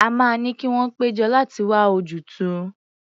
A máa ní kí wọ́n pé jọ láti wá ojútùú.